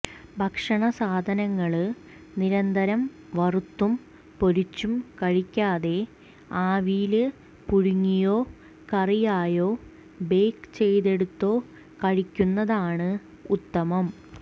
ഭക്ഷണ സാധനങ്ങള് നിരന്തരം വറുത്തും പൊരിച്ചും കഴിക്കാതെ ആവിയില് പുഴുങ്ങിയോ കറിയായോ ബേക്ക് ചെയ്തെടുത്തോ കഴിക്കുന്നതാണ് ഉത്തമം